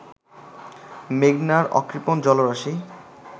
মেঘনার অকৃপণ জলরাশি